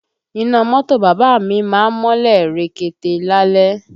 Iná mọ́tò bàbá à mi má ń mọ́lẹ̀ rekete lálẹ́